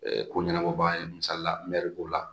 ko ɲɛnabɔ baa ye misalila n mɛ k'o la